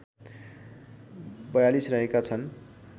४२ रहेका छन्